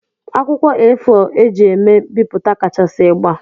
Akwụkwọ A4 eji eme bipụta kachasị ịgba.